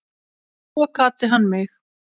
Svo kvaddi hann mig.